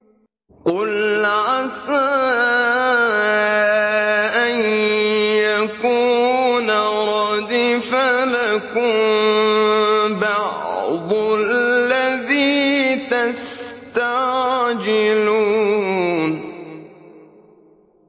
قُلْ عَسَىٰ أَن يَكُونَ رَدِفَ لَكُم بَعْضُ الَّذِي تَسْتَعْجِلُونَ